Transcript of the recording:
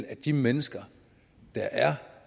at de mennesker der er